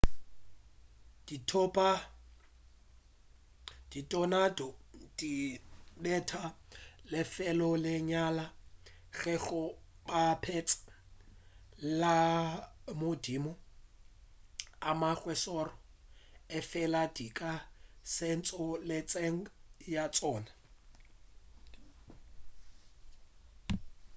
dithonado di betha lefelo le lenyane ge go bapetšwa le madimo a mangwe a šoro efela di ka senya tšhohle tseleng ya tšona